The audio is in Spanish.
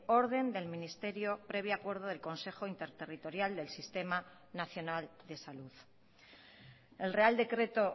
orden del ministerio previo acuerdo del consejo interterritorial del sistema nacional de salud el real decreto